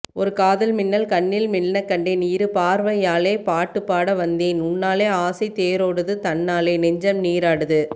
ஒரு காதல் மின்னல் கண்ணில் மின்னக்கண்டேன் இரு பார்வையாலே பாட்டுப்பாட வந்தேன் உன்னாலே ஆசைத் தேரொடுது தன்னாலே நெஞ்சம் நீராடுது